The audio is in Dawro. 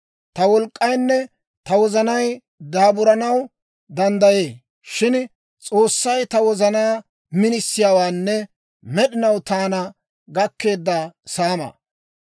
Ta wolk'k'aynne ta wozanay daaburanaw danddayee; shin S'oossay ta wozanaa minisiyaawaanne, med'inaw taana gakkeedda saamaa.